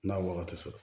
N'a ye wagati sɔrɔ